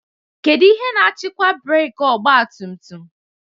Kedu ihe na-achịkwa breeki ọgba tum tum?